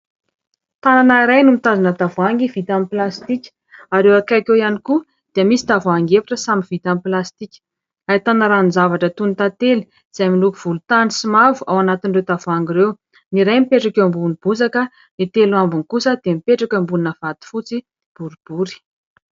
Tanana iray no mitazona tavoahangy vita amin'ny plastika ary eo akaiky eo ihany koa dia misy tavoahangy efatra samy vita amin'ny plastika. Ahitana ranon-javatra toy ny tantely izay miloko volontany sy mavo ao anatin'ireo tavoahangy ireo. Ny iray mipetraka eo ambonin'ny bozaka, ny telo ambiny kosa dia mipetraka eo ambonina vato fotsy boribory.